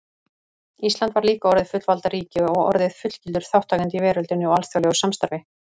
Ísland var líka orðið fullvalda ríki og orðið fullgildur þátttakandi í veröldinni og alþjóðlegu samstarfi.